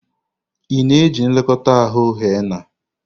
Ị na-eji nlekọta ahụ henna?